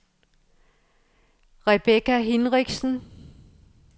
Rebecca Hinrichsen